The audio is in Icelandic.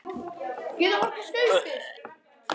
Guðný Helga Herbertsdóttir: Verður það á ensku?